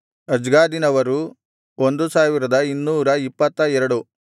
ಅಜ್ಗಾದಿನವರು 1222